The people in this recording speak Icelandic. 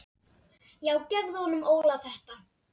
Já gefðu honum Óla þetta.